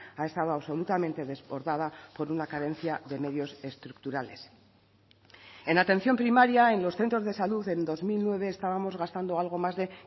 ha estado absolutamente desbordada por una carencia de medios estructurales en atención primaria en los centros de salud en dos mil nueve estábamos gastando algo más de